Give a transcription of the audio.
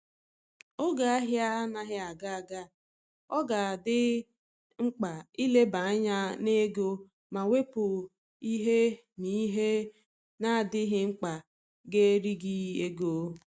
Oge ahia anaghị aga aga, ọ ga adị mkpa ileba anya n'ego ma wepu ihe na ihe na adịghị mkpa ga eri gị ego